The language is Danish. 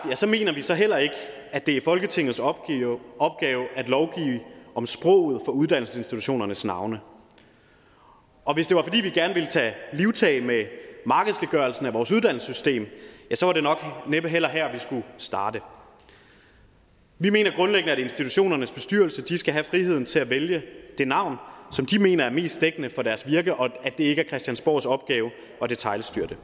mener vi så heller ikke at det er folketingets opgave at lovgive om sproget for uddannelsesinstitutionernes navne og hvis det var fordi vi gerne ville tage livtag med markedsgørelsen af vores uddannelsessystem var det nok næppe heller her vi skulle starte vi mener grundlæggende at institutionernes bestyrelser skal have friheden til at vælge det navn som de mener er mest dækkende for deres virke og at det ikke er christiansborgs opgave at detailstyre det